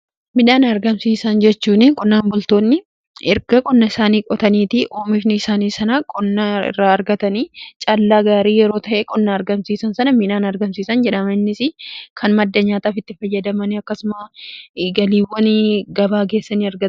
Midhaan argamsiisan jechuun qonnaan bultoonni erga qonna isaanii qotaniitii oomishn isaanii sana qonnaa irraa argatanii caallaa gaarii yeroo ta'ee qonna argamsiisan sana midhaan argamsiisan jedhamanis kan madda nyaataafitti fayyadamani akkasuma galiiwwan gabaa keessaa ni arga.